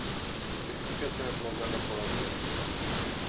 Ženske so jo božale po laseh.